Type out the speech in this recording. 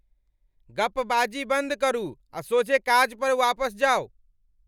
गप्पबाजी बन्द करू आ सोझे काज पर वापस जाउ!